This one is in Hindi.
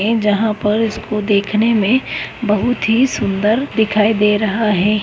ए जहां पर इसको देखने में बहुत ही सुंदर दिखाई दे रहा है।